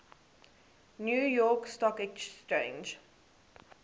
new york stock exchange